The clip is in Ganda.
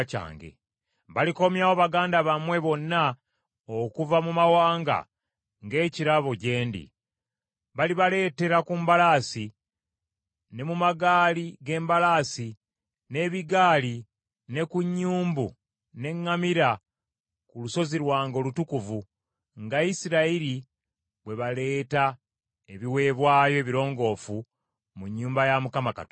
Balikomyawo baganda bammwe bonna okuva mu mawanga nga ekirabo gye ndi. Balibaleetera ku mbalaasi, ne mu magaali ge mbalaasi n’ebigaali ne ku nnyumbu n’eŋŋamira ku lusozi lwange olutukuvu nga Isirayiri bwe baleeta ebiweebwayo ebirongoofu mu nnyumba ya Mukama Katonda.